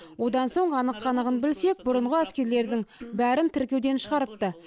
одан соң анық қанығын білсек бұрынғы әскерилердің бәрін тіркеуден шығарыпты